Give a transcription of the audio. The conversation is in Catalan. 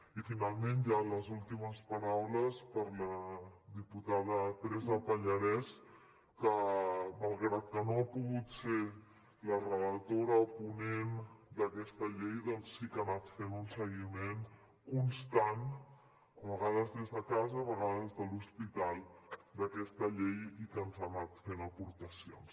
i finalment ja les últimes paraules per a la diputada teresa pallarès que malgrat que no ha pogut ser la relatora ponent d’aquesta llei sí que ha anat fent un seguiment constant a vegades des de casa a vegades des de l’hospital d’aquesta llei i que ens ha anat fent aportacions